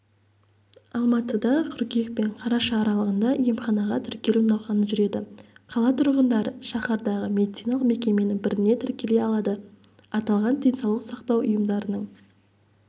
алматыда қыркүйек пен қараша аралығында емханаға тіркелу науқаны жүреді қала тұрғындары шаһардағы медициналық мекеменің біріне тіркеле алады аталған денсаулық сақтау ұйымдарының